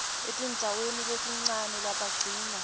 etindzaweni letincane labagcina